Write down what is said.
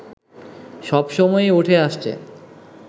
সবসময়ই উঠে আসছে